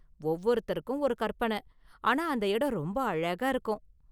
ஒவ்வொருத்தருக்கும் ஒரு கற்பனை, ஆனா அந்த இடம் ரொம்ப அழகா இருக்கும்.